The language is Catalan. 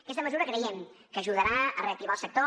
aquesta mesura creiem que ajudarà a reactivar el sector